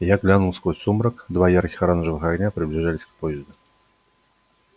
я глянул сквозь сумрак два ярких оранжевых огня приближались к поезду